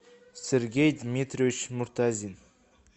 сергей дмитриевич муртазин